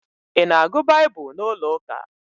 I na-agụ Baịbụl n'ụlọ ụka?